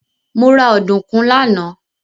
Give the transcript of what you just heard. Mo ra ọ̀dùnkún lánàá.